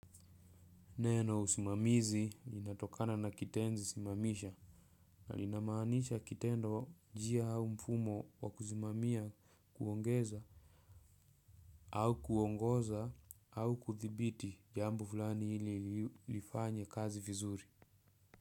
Neno usimamizi linatokana na kitenzi simamisha. Na linamaanisha kitendo njia au mfumo wa kusimamia kuongeza au kuongoza au kudhibiti jambo fulani ili lifanye kazi vizuri.